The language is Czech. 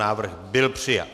Návrh byl přijat.